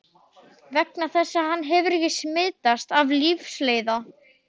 Vegna þess að hann hefur ekki smitast af lífsleiða.